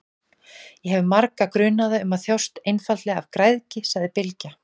Ég hef marga grunaða um að þjást einfaldlega af græðgi, sagði Bylgja.